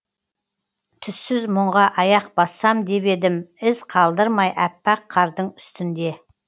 түссіз мұңға аяқ бассам деп едім із қалдырмай аппақ қардың үстінде